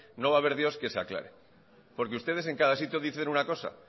no va a ver dios quien se aclare porque ustedes en cada sitio dicen una cosa